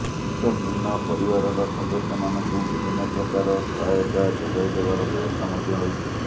ଏତତଭିନ୍ନ ପରିବାରର ସଦସ୍ୟ ମାନଙ୍କୁ ବିଭିନ୍ନ ପ୍ରକାର ସହାୟତା ଯୋଗାଇଦେବାର ବ୍ୟବସ୍ଥା ମଧ୍ୟ ରହିଛି